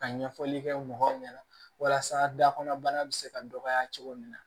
Ka ɲɛfɔli kɛ mɔgɔw ɲɛna walasa dakɔnɔbana bɛ se ka dɔgɔya cogo min na